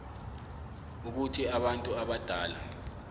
ukuthi abantu abadala